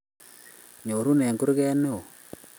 Nyoruo eng kurge ne oo.